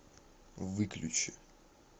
выключи